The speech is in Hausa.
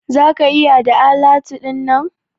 Za ka iya da alatu dinnan?